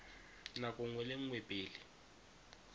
nako nngwe le nngwe pele